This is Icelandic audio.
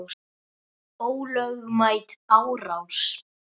Ólögmæt árás.